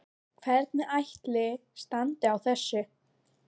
Hvernig ætli standi á þessu?